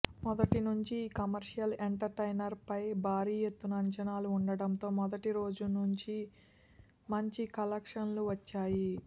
మొదటి నుంచి ఈ కమర్షియల్ ఎంటర్టైనర్ పై భారీ ఎత్తున అంచనాలు ఉండడంతో మొదటిరోజు మంచి కలెక్షన్స్ వచ్చాయి